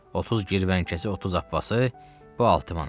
30 girvənkəcə 30 abbasi, bu 6 manat.